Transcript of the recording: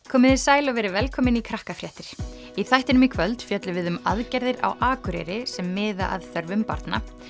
komiði sæl og verið velkomin í í þættinum í kvöld fjöllum við um aðgerðir á Akureyri sem miða að þörfum barna